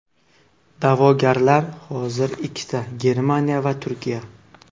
Da’vogarlar hozir ikkita Germaniya va Turkiya.